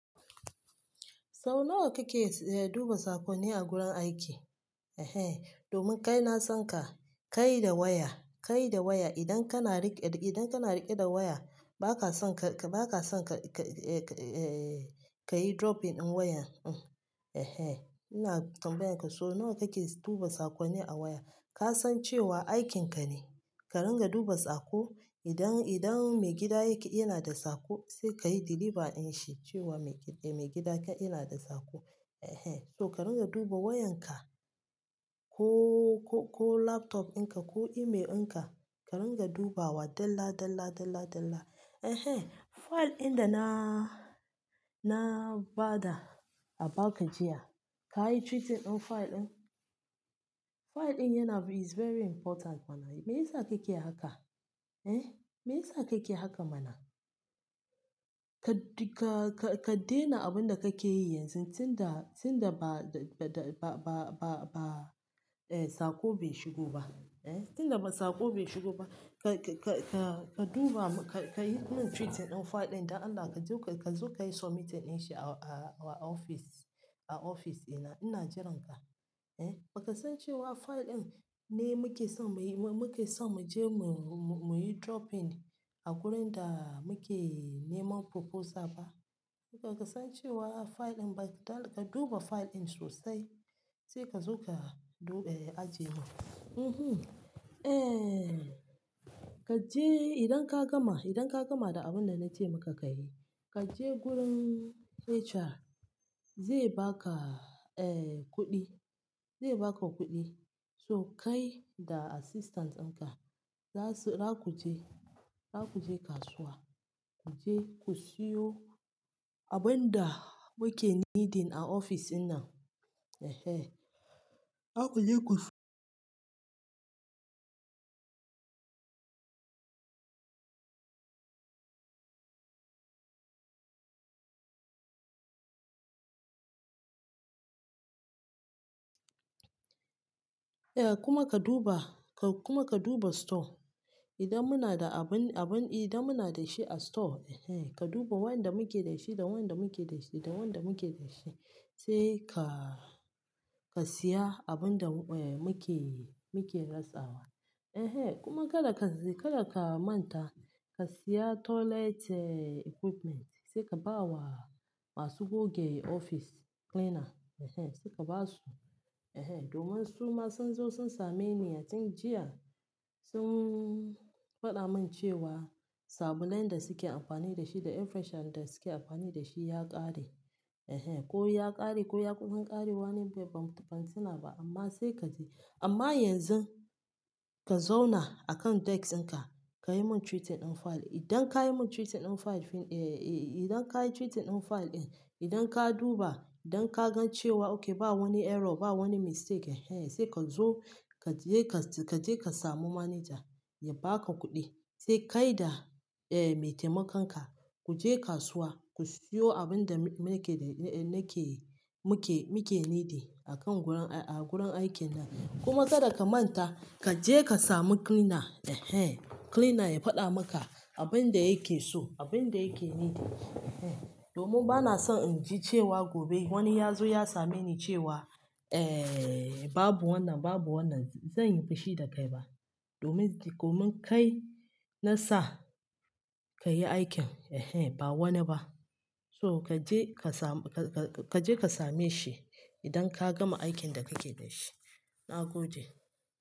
So nawa kake duba sakonni a gurin aiki? Eh, domin kai na san ka, kai da waya, kai da waya. Idan kana riƙe da waya, ba ka son ka, ba ka son ka yi dropping ɗin wayan. Eh, ina tambayan ka. So nawa kake duba sakonni a waya? Ka san cewa aikin ka ne. Ka ringa duba saƙo. Idan, idan mai gida yake yana da saƙo, sai ka yi deliver ɗin shi cewa mai gida ka yana da saƙo. Eh, so ka ringa duba wayan ka ko, ko laptop ɗin ka, ko email ɗin ka. Ka ringa dubawa dalla dalla dalla dalla. Eh, file ɗin da na, na ba da abaka jiya, ka yi treating ɗin file ɗin. File ɗin yana is very important mana. Me yasa kake haka? Eh, me yasa kake haka mana? Ka, ka, ka daina abin da kake yi yanzu tun da, tun da ba, ba, ba, ba, ba, ba, eh, saƙo bai shigo ba. Eh, tun da ba saƙo bai shigo ba. Ka, ka, ka duba, ka yi min treating ɗin file ɗin da an ba ka. Ka zo ka yi submitting ɗin shi a ofis, a ofis ina, ina jiran ka. Eh, ba ka san cewa file ɗin ne muke son mu yi, muke son mu je mu, mu yi dropping a wurin da muke neman proposal ba. Baka san cewa file ɗin, ka duba file ɗin sosai. Sai kazo ka aje mun uhm eh, ka je idan ka gama, idan ka gama da abin da na ce maka ka yi, ka je wurin HR. Zai ba ka, eh, kuɗi. Zai ba ka kuɗi. So kai da assistant ɗin ka, za su, za ku je, za ku je kasuwa. Ku je ku siyo abin da muke needing a ofis ina. Eh, za ku je ku eh, kuma ka duba, kuma ka duba store. Idan muna da abun, abun, idan muna da shi a store, eh, ka duba wanda muke da shi da wanda muke da shi da wanda muke da shi. Sai ka, ka siya abin da, eh, muke, muke rasawa. Eh, kuma kada ka, kada ka manta ka siya toilet equipment. Sai ka ba wa masu goge ofis, cleaner. Eh, sai ka ba su. Eh, domin su ma sun zo sun same ni a tun jiya. Sun faɗa min cewa sabulan da suke amfani da shi da air freshener da suke amfani da shi ya ƙare. Eh, ko ya ƙare ko ya kusan ƙarewa ne bai, ban tuna ba, amma sai ka je. Amma yanzu ka zauna a kan desk ɗin ka. Ka yi mun treating ɗin file. Idan ka yi mun treating ɗin file, eh, idan ka yi treating ɗin file ɗin, idan ka duba, idan ka gan cewa okay ba wani error, ba wani mistake, eh, sai ka zo ka je ka, ka je ka samu manager ya ba ka kuɗi. Sai kai da, eh, me taimakonka ku je kasuwa ku siyo abin da muke, nake, muke, muke needing a kan wurin, a gurin aikin nan. Kuma kada ka manta ka je ka sami cleaner. Eh, cleaner ya faɗa maka abin yake so, abinda yake nuhi. Eh domin bana son inji cewa gobe wani yazo ya same ni cewa eh babu wannan. Babu wannan zanyi fushi dakai ba domin, domin kai na sa ka yi aikin. Eh, ba wani ba. So ka je ka samu, ka je ka same shi idan ka gama aikin da kake da shi. Na gode.